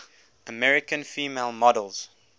american female models